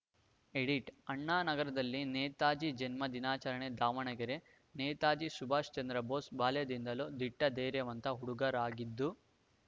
edit ಅಣ್ಣಾನಗರದಲ್ಲಿ ನೇತಾಜಿ ಜನ್ಮದಿನಾಚರಣೆ ದಾವಣಗೆರೆ ನೇತಾಜಿ ಸುಭಾಷ್‌ಚಂದ್ರ ಬೋಸ್‌ ಬಾಲ್ಯದಿಂದಲೂ ದಿಟ್ಟಧೈರ್ಯವಂತ ಹುಡುಗರಾಗಿದ್ದು